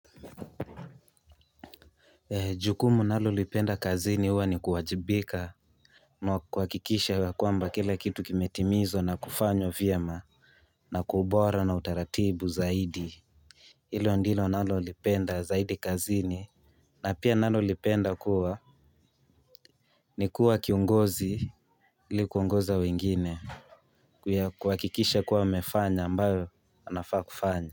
Jukumu nalolipenda kazini huwa ni kuwajibika na kuhakikisha ya kwamba kila kitu kimetimizwa na kufanywa vyema. Na kwa ubora na utaratibu zaidi. Hilo ndilo nalolipenda zaidi kazini na pia nalolipenda kuwa ni kuwa kiongozi ilikuongoza wengine kuhakikisha kuwa wafanya ambayo anafaa kufanya.